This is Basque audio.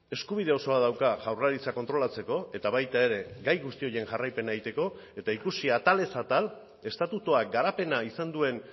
eskubide osoa dauka jaurlaritza kontrolatzeko eta baita ere gai guzti horien jarraipena egiteko eta ikusi atalez atal estatutuak garapena izan duen